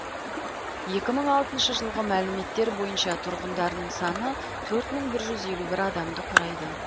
екі мың алтыншы жылғы мәліметтер бойынша тұрғындарының саны төрт мың бір жүз елу бір адамды құрайды